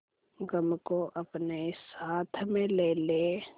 गम को अपने साथ में ले ले